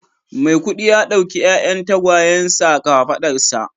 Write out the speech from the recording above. Miakudi ya dauki 'ya'yan tagwayensa a kafadarsa